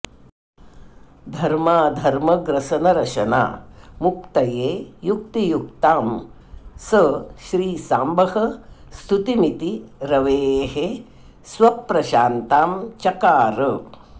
धर्माधर्मग्रसनरशनामुक्तये युक्तियुक्तां स श्रीसाम्बः स्तुतिमिति रवेः स्वप्रशान्तां चकार